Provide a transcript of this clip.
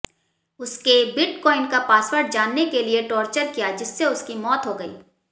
उसके बिटकॉइन का पासवर्ड जानने के लिए टॉर्चर किया जिससे उसकी मौत हो गई